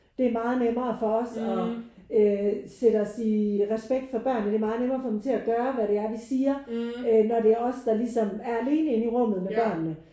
Det er meget nemmere for os og øh sætte os i respekt for børnene. Det er meget nemmere at få dem til at gøre hvad det er vi siger øh når det er os der ligesom er alene inde i rummet med børnene